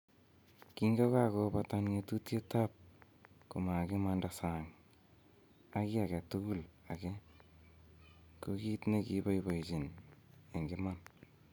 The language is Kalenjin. "Kingokakobata ng'otutietab komakimanda sang ak ki agetugul age, ko kiit ne kyoboiboiyenchi en iman."